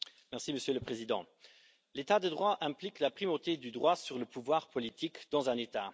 Monsieur le Président, l'état de droit implique la primauté du droit sur le pouvoir politique dans un État.